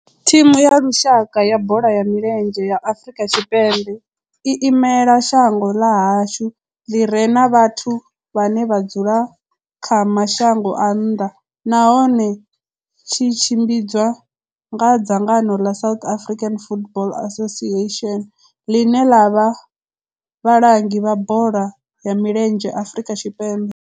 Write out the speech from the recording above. Thimu ya lushaka ya bola ya milenzhe ya Afrika Tshipembe i imela shango ḽa hashu ḽi re na vhathu vhane vha dzula kha mashango a nnḓa nahone tshi tshimbidzwa nga dzangano la South African Football Association, line la vha vhalangi vha bola ya milenzhe Afrika Tshipembe.